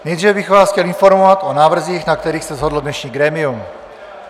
Nejdříve bych vás chtěl informovat o návrzích, na kterých se shodlo dnešní grémium.